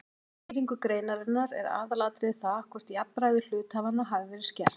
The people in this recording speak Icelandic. Við skýringu greinarinnar er aðalatriðið það hvort jafnræði hluthafanna hafi verið skert.